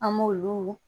An m'olu